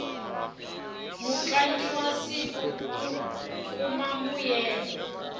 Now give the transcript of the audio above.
mutlangi wa siku u kuma mbuyelo